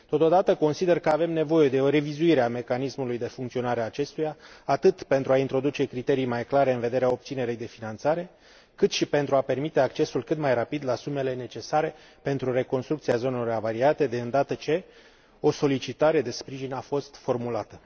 Totodată, consider că avem nevoie de o revizuire a mecanismului de funcționare a acestuia, atât pentru a introduce criterii mai clare în vederea obținerii de finanțare, cât și pentru a permite accesul cât mai rapid la sumele necesare pentru reconstrucția zonelor avariate de îndată ce o solicitare de sprijin a fost formulată.